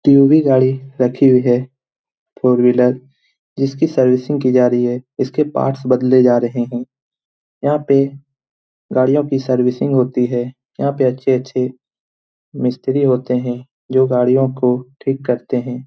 TUV. गाड़ी रखी हुई है। फोर व्हीलर जिसकी सर्विसिंग की जा रही है इसके पार्ट्स बदले जा रहे हैं । यहाँ पे गाड़ियों की सर्विसिंग होती है। यहाँ पे अच्छे-अच्छे मिस्त्री होते हैं जो गाड़ियों को ठीक करते हैं ।